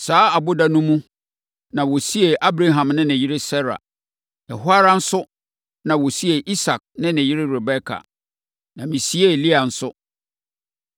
Saa ɔboda no mu na wɔsiee Abraham ne ne yere Sara. Ɛhɔ ara nso na wɔsiee Isak ne ne yere Rebeka, na mesiee Lea nso.